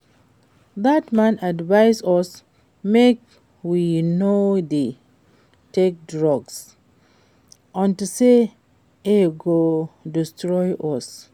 Dat man advice us make we no dey take drugs unto say e go destroy us